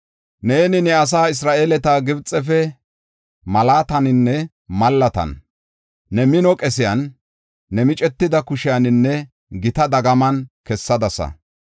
Neeni ne asaa Isra7eele Gibxefe malaataninne mallatan, ne mino qesiyan, ne micetida kushiyaninne gita dagaman kessadasa.